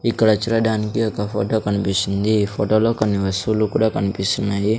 ఇక్కడ చూడడానికి ఒక ఫోటో కనిపిస్తుంది ఈ ఫోటోలో కొన్ని వస్తువులు కూడా కనిపిస్తున్నాయి.